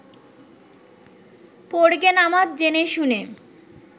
পড়গে নামাজ জেনেশুনে